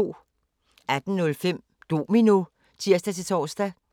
18:05: Domino (tir-tor)